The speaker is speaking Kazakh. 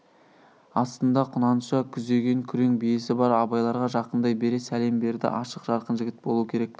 астында құнанша күзеген күрең биесі бар абайларға жақындай бере сәлем берді ашық жарқын жігіт болу керек